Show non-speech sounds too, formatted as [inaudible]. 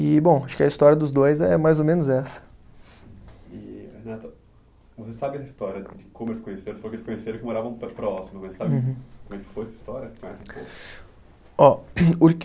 E, bom, acho que a história dos dois é mais ou menos essa. [unintelligible] Você sabe a história de como eles se conheceram [unintelligible] moravam próximo, né. [unintelligible] Sabe como foi essa história, conhece um pouco. [unintelligible]